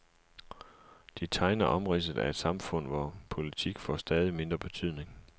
De tegner omridset af et samfund, hvor politik får stadig mindre betydning.